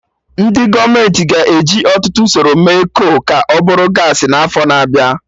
Ndị gọọmenti ga-eji ọtụtụ usoro mee kol ka ọ bụrụ gaasị n'afọ na-abịa